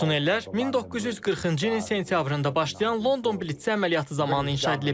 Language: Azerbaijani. Bu tunnellər 1940-cı ilin sentyabrında başlayan London blitsi əməliyyatı zamanı inşa edilib.